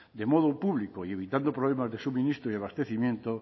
de modo público y evitando problemas de suministro y abastecimiento